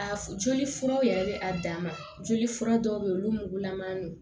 A f joli furaw yɛrɛ bɛ a dan ma joli fura dɔw bɛ yen olu mugulaman don